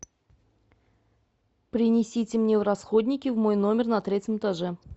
принесите мне расходники в мой номер на третьем этаже